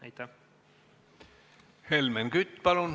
Helmen Kütt, palun!